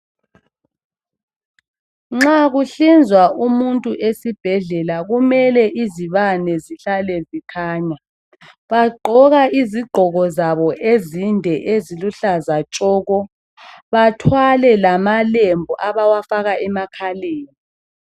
nxa kuhlinzwa umuntu esibhedlela kumele izibane zihlale zikhanya bagqoka izigqoko zabo ezinde eziluhlaza tshoko bathwale lamalembu abawafaka emakhaleni